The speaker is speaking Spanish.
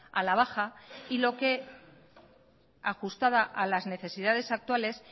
a la baja y lo que ajustada a las necesidades actuales